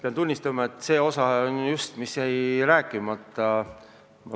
Pean tunnistama, et see on osa jutust, mis jäi mul rääkimata.